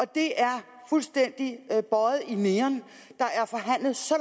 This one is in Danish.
det er fuldstændig bøjet i neon der er forhandlet så